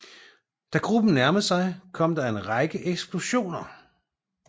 Da gruppen nærmede sig kom der en række eksplosioner